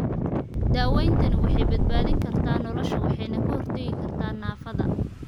Daawayntani waxay badbaadin kartaa nolosha waxayna ka hortagi kartaa naafada.